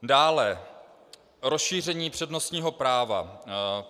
Dále, rozšíření přednostního práva.